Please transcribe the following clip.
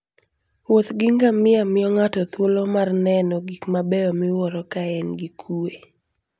Wuoth gi ngamia miyo ng'ato thuolo mar neno gik mabeyo miwuoro ka en gi kuwe.